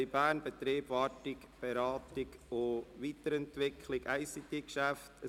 «Kantonspolizei Bern, Betrieb, Wartung, Beratung und Weiterentwicklung der ICT-Grundversorgung […]».